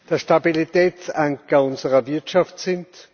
der Stabilitätsanker unserer Wirtschaft sind.